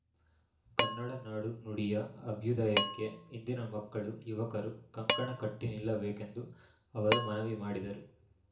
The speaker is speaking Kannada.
ಕನ್ನಡ ನಾಡು ನುಡಿಯ ಅಭ್ಯುದಯಕ್ಕೆ ಇಂದಿನ ಮಕ್ಕಳು ಯುವಕರು ಕಂಕಣ ಕಟ್ಟಿನಿಲ್ಲಬೇಕೆಂದು ಅವರು ಮನವಿ ಮಾಡಿದರು